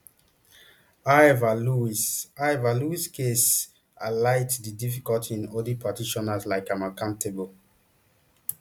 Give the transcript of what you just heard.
however louise however louise case highlights di difficulty in holding practitioners like am accountable